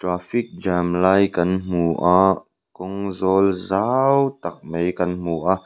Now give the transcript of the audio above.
traffic jam lai kan hmu a kawng zawl zau tak mai kan hmu a.